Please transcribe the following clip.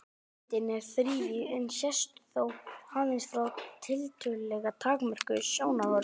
Almyndin er þrívíð en sést þó aðeins frá tiltölulega takmörkuðu sjónarhorni.